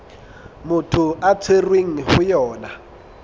motho a tshwerweng ho yona